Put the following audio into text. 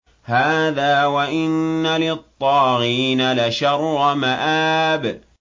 هَٰذَا ۚ وَإِنَّ لِلطَّاغِينَ لَشَرَّ مَآبٍ